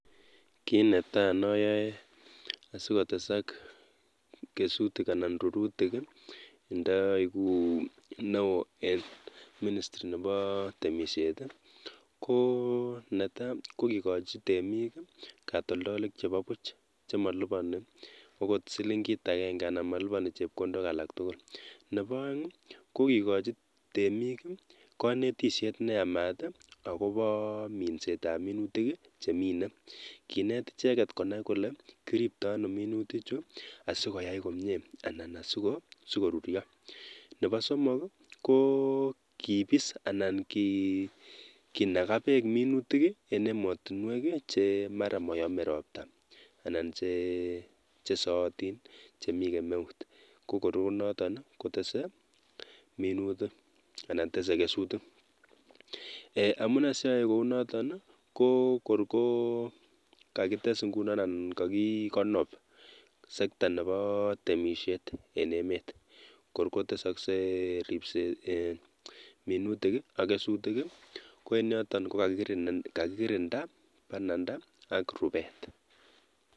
Kiit netai noyoe asikotesak kesutik anan rurutik ndoikuu neoo en ministry neboo temishet i, konetaa kokikochi temiik katoldolik chebobuch chemoliboni okot siling'it akeng'e anan moliboni chepkondok alak tukul, neboo oeng i kokikochi temiik konetishet neyamat akoboo minsetab minutik chemine, kineet icheket konai kolee kiribtoo anoo minutichuu asikoyai komnyee anan sikoruryo, neboo somok i ko kibiis anan kinakaa beek minutik en emotinwek chemara moyome robtaa anan chesootin chemikemeut kokorkonoton kotesee minutik anan tesee kesutik, eeh amunee sioyoe kounoton i kokorkokakites ing'unon anan kokikonob sekta neboo temishet en emet, kor kotesoksee ribset eeh minutik ak kesutik ko en yoton kokakikirinda bananda ak rubeet.